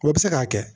O bɛ se k'a kɛ